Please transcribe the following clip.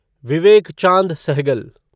Vivek Chand Sehgal